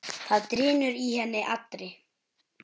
Það drynur í henni allri.